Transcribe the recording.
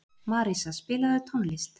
Marísa, spilaðu tónlist.